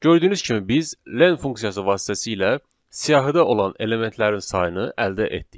Gördüyünüz kimi biz len funksiyası vasitəsilə siyahıda olan elementlərin sayını əldə etdik.